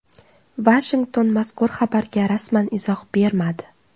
Vashington mazkur xabarga rasman izoh bermadi.